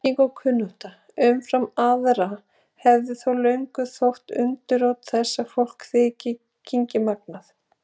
Þekking og kunnátta umfram aðra hefur þó löngum þótt undirrót þess að fólk þyki kynngimagnað.